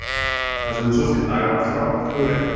Það sem þú sást í dag var frábært hugrekki.